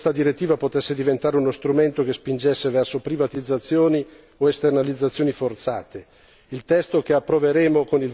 Ebbene, abbiamo lavorato per evitare che questa direttiva potesse diventare uno strumento che spingesse verso privatizzazioni o esternalizzazioni forzate.